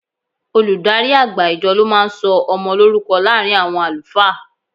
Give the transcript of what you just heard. Olùdarí àgbà ìjọ ló máa ń sọ ọmọ lórúkọ láàárín àwọn àlùfáà.